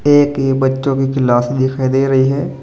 एक यह बच्चों की क्लास दिखाई दे रही है।